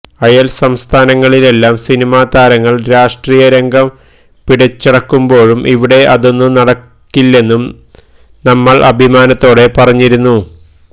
അയല് സംസ്ഥാനങ്ങളിലെല്ലാം സിനിമാ താരങ്ങള് രാഷ്ട്രീയ രംഗം പിടിച്ചടക്കുമ്പോഴും ഇവിടെ അതൊന്നും നടക്കില്ലെന്നു നമ്മള് അഭിമാനത്തോടെ പറഞ്ഞിരുന്നു